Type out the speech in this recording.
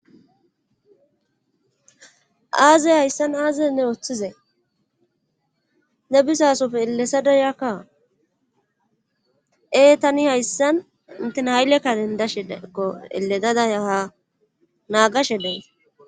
Aaze hayssan aaze ne oothizay? ne bizaasope ellethada eeletada yakaa ee tani hayssan intina hayle karen dashe da7iko elelada ya haa naagashe days.